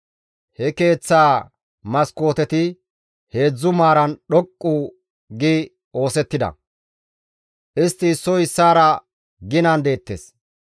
He keeththaa maskooteti heedzdzu maaran dhoqqu gi oosettida; istti issoy issaara ginan deettes.